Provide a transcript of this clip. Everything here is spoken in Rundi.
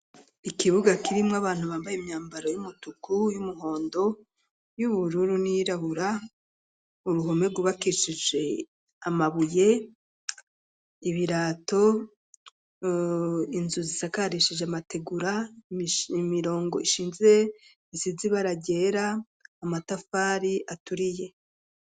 Ikibuga kirimwo, abantu bambaye imyambaro, y'umutuku, y'umuhondo, y'ubururu, n'iyirabura; uruhome, rwubakishije amabuye, ibirato, inzu zisakarishije, amategura, imirongo ishinze, isize ibara ryera, amatafari aturiye.